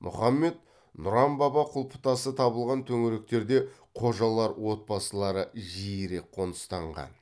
мұхаммед нұран баба құлпытасы табылған төңіректерде қожалар отбасылары жиірек қоныстанған